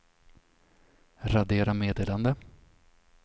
radera meddelande